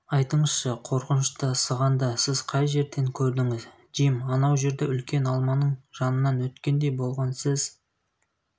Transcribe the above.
айтыңызшы қорқынышты сығанды сіз қай жерден көрдіңіз джим анау жерде үлкен алманың жанынан өткендей болған сіз